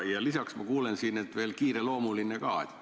Ja lisaks ma kuulen, et asi on kiireloomuline.